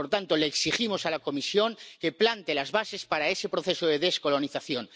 Por tanto, le exigimos a la Comisión que plante las bases para ese proceso de descolonización.